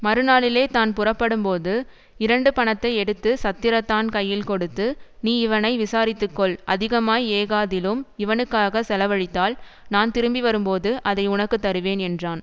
மறுநாளிலே தான் புறப்படும்போது இரண்டு பணத்தை எடுத்து சத்திரத்தான் கையில் கொடுத்து நீ இவனை விசாரித்துக்கொள் அதிகமாய் ஏகாதிலும் இவனுக்காகச் செலவழித்தால் நான் திரும்பி வரும்போது அதை உனக்கு தருவேன் என்றான்